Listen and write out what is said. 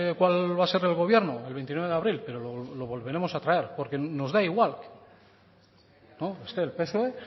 cuál va a ser el gobierno el veintinueve de abril pero lo volveremos a traer porque nos da igual esté el psoe